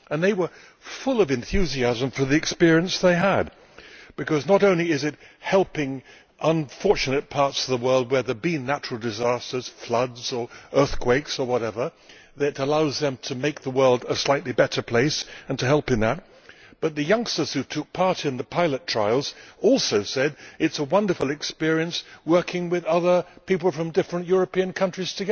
They were full of enthusiasm for the experience they had had, because not only is it helping unfortunate parts of the world where there have been natural disasters floods, earthquakes or whatever which allows them to make the world a slightly better place and to help in that, but the youngsters who took part in the pilot trials also said it is a wonderful experience to be working together with other people from different European countries.